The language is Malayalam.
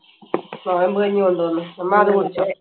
നോയമ്പ് കഞ്ഞി കൊണ്ടുവന്ന്, അമ്മ അത് കുടിച്ചോ?